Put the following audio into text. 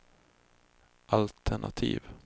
altenativ